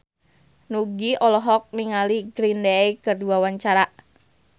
Nugie olohok ningali Green Day keur diwawancara